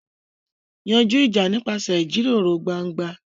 Yanjú ìjà nípasẹ̀ ìjíròrò gbangba.